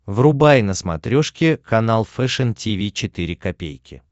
врубай на смотрешке канал фэшн ти ви четыре ка